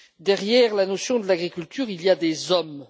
Derrière la notion de l'agriculture, il y a des hommes.